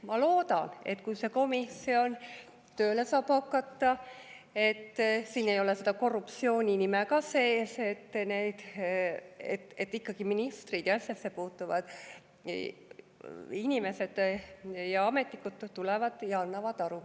Ma loodan, et kui see komisjon tööle saab hakata – siin ei ole seda korruptsiooni ka sees –, siis ikkagi ministrid ja asjasse puutuvad inimesed ja ametnikud tulevad ja annavad aru.